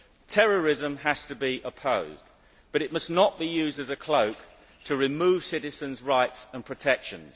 Terrorism has to be opposed, but it must not be used as a cloak to remove citizens' rights and protections.